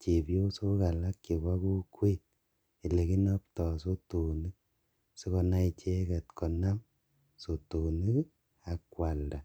chebiosok alak chebo kokwet elekinopto sotonik sikonai icheket konab sotonik ak kwalda.